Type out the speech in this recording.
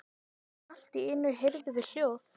Allt í einu heyrðum við hljóð.